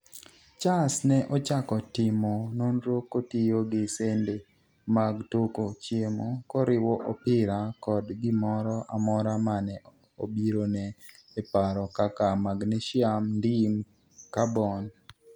Charles ne ochako timo nonro kotiyo gi sende mag toko chiemo, koriwo opira kod gimoro amora mane obirone e paro kaka magnesium, ndim, carbon